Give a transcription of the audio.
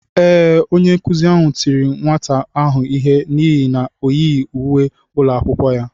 Ee, onye nkụzi ahụ tiri nwata ahụ ihe n’ihi na o yighị uwe ụlọ akwụkwọ ya.